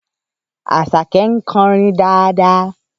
Àṣàkẹ́ ń kọrin dáadáa